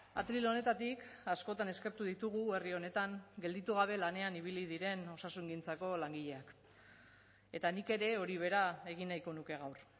atril honetatik askotan eskatu ditugu herri honetan gelditu gabe lanean ibili diren osasungintzako langileak eta nik ere hori bera egin nahiko nuke gaur